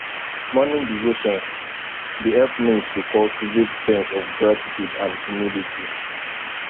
morning devotion dey help me to cultivate sense of gratitude and humility